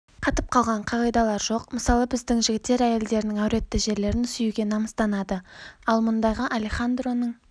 қатып қалған қағидалар жоқ мысалы біздің жігіттер әйелдерінің әуретті жерлерін сүюге намыстанады ал мұндайға алехандроның